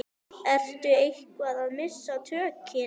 Ertu eitthvað að missa tökin?